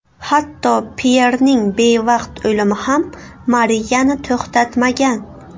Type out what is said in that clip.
Hatto Pyerning bevaqt o‘limi ham Mariyani to‘xtatmagan.